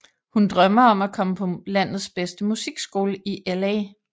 Hun drømmer om at komme på landets bedste musikskole i LA